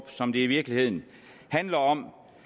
som det i virkeligheden handler om